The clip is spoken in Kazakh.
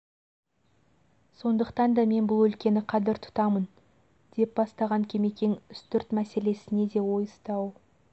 сондықтан да мен бұл өлкені қадір тұтамын деп бастаған кемекең үстірт мәселесіне де ойысты-ау